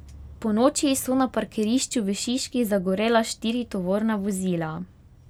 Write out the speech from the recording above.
Ponoči so na parkirišču v Šiški zagorela štiri tovorna vozila.